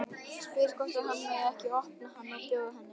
Spyr hvort hann megi ekki opna hann og bjóða henni.